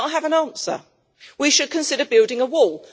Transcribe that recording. But I have an answer. We should consider building a wall.